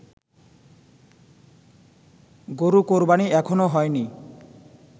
গরু কোরবানি এখনও হয়নি